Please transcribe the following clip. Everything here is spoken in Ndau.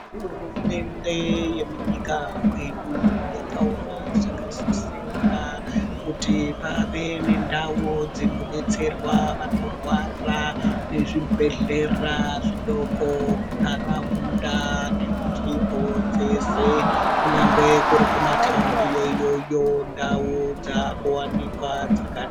Hurumende yemunyika mwedu yakaona zvakasisira kuyi pave nendau dzinodetserwa vanorwara nezvibhedhlera zvidoko munharaunda nemunzvimbo dzese, kunyangwe kuri kumataundi iyo iyoyo ndau dzakuwanikwa dzakawanda..